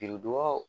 Biridugaw